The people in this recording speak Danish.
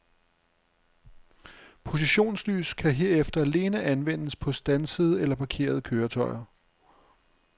Positionslys kan herefter alene anvendes på standsede eller parkerede køretøjer.